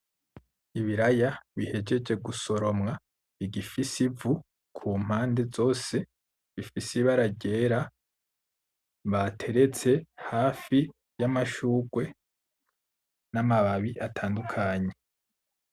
Ibiraya bihejeje gusoromwa bigifise ivu kumpande zose, bifise ibara ryera bateretse hafi y’amashurwe n’amababi atandukanye.